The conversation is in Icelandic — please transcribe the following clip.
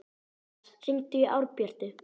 Karitas, hringdu í Árbjörtu.